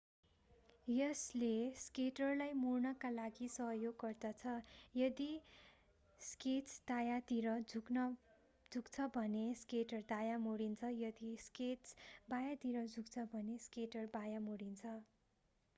यसले स्केटरलाई मोड्नका लागि सहयोग गर्दछ यदि स्केट्स दायाँतिर झुक्छ भने स्केटर दायाँ मोडिन्छ यदि स्केट्स बायाँतिर झुक्छ भने स्केटर बायाँ मोडिन्छ